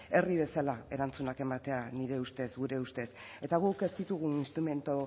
herri bezala erantzunak ematea nire ustez gure ustez eta guk ez ditugu instrumentu